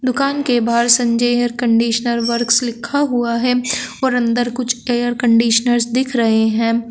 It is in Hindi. दुकान के बाहर संजय एयर कंडीशनर वर्क्स लिखा हुआ है और अंदर कुछ एयर कंडीशनर्स दिख रहे हैं।